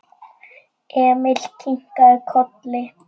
Emil kinkaði kolli.